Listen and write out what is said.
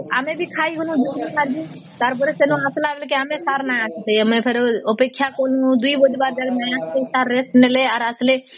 ଆମେ ବି ଖାଇବୁନି ଭୋକ ଲାଗିବା ତାର ପରେ ସେନ ଆସିଲା ବେଳେ sir ନାହାନ୍ତି ସେ ଅପେକ୍ଷା କଲୁ ୨ ଗୋଟି ବାଜେ Sir ରେଷ୍ଟ ନେଲେ ଆର ଆସିଲେ